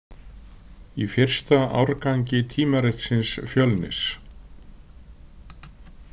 Í fyrsta árgangi tímaritsins Fjölnis.